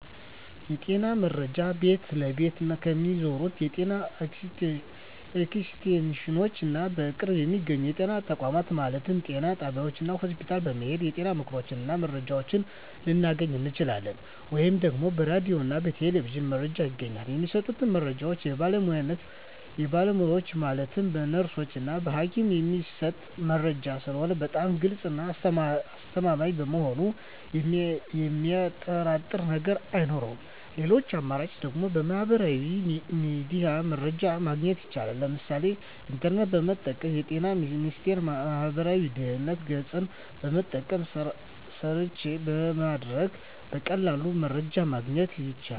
የጤና መረጃ ቤት ለቤት ከሚዞሩት የጤና ኤክስቴንሽኖች እና በቅርብ በሚገኙ የጤና ተቋማት ማለትም ጤና ጣቢያዎች እና ሆስፒታል በመሔድ የጤና ምክሮችን እና መረጃዎችን ልናገኝ እንችላለን። ወይም ደግሞ በራዲዮ እና በቴሌቪዥንም መረጃ ይገኛል። የሚሰጡት መረጃዎች በባለሙያዎች ማለትም በነርሶች እና በሀኪሞች የሚሰጥ መረጂ ስለሆነ በጣም ግልፅ እና አስተማማኝ በመሆኑ የሚያጠራጥር ነገር አይኖረውም ሌላኛው አማራጭ ደግሞ በሚህበራዊ ሚዲያ መረጃ ማግኘት ይቻላል ለምሳሌ ኢንተርኔትን በመጠቀም በጤና ሚኒስቴር ማህበራዊ ድህረ ገፅን በመጠቀም ሰርች በማድረግ በቀላሉ መረጃን ማግኘት ይቻላል።